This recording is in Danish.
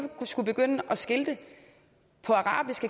skulle begynde at skilte på arabisk